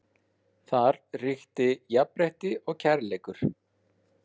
Þar ríki jafnrétti og kærleikur.